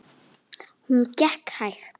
Hún gekk hægt.